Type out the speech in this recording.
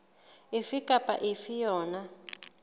efe kapa efe ya yona